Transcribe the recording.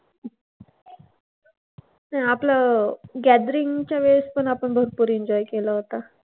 ते आपलं gathering च्या वेळेस पण आपण भरपूर enjoy केला होता.